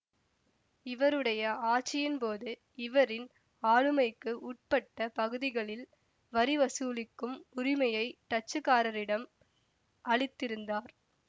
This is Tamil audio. இவருடைய ஆட்சியின் போது இவரின் ஆளுமைக்கு உட்பட்ட பகுதிகளில் வரி வசூலிக்கும் உரிமையை டச்சுக்காரரிடம் அளித்திருந்தார்